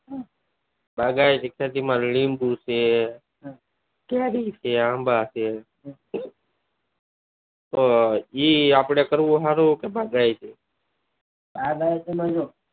બાગાયતી ખેતી માં લીબું છે કેરી છે આંબા છ એ આપડે કરવું સારું કે બાગાયતી? બાગાયતી માં જો